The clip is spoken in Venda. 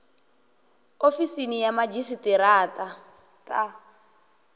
ofisini ya madzhisi ṱira ṱa